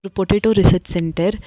ஒரு potato research centre .